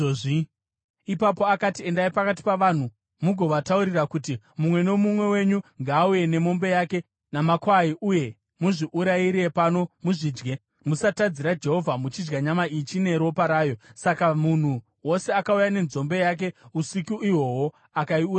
Ipapo akati, “Endai pakati pavanhu mugovataurira kuti, ‘Mumwe nomumwe wenyu ngaauye nemombe yake, namakwai uye muzviurayire pano muzvidye. Musatadzira Jehovha muchidya nyama ichine ropa rayo.’ ” Saka munhu wose akauya nenzombe yake usiku ihwohwo akaiuraya ipapo.